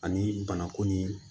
Ani banakun ni